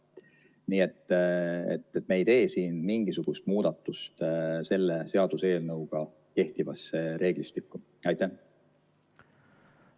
Nii et me ei tee siin selle seaduse eelnõuga kehtivasse reeglistikku mingisugust muudatust.